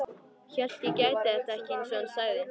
Hélt ég gæti þetta ekki, einsog hann sagði.